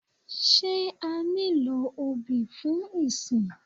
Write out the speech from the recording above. Sé a nílò obì fún ìsìn?